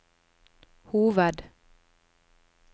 hoved